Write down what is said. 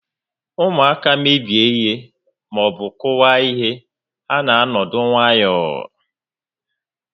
Ụmụaka mebie maọbụ kụwaa ihe, ha na-anọdụ nwayọọ